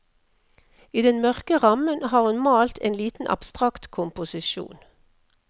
I den mørke rammen har hun malt en liten abstrakt komposisjon.